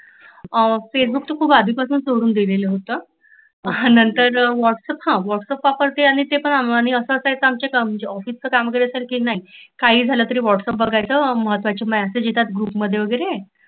आ Facebook खुप आधीपासुनच सोडुन दिलेल होत नंतर व्हाॅटसअप वापरते हा व्हाॅट्सअप आणि ते पण अस अस म्हंजे ऑफिसचे काम करत सारकी नाही. अस काही झाल तरी व्हाॅट्सअप बघायच महत्वाचे मेसेज येतात ते बघायचे ग्रुपमध्ये वगैरे